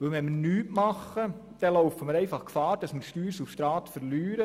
Tun wir nichts, laufen wir Gefahr, an Steuersubstrat zu verlieren.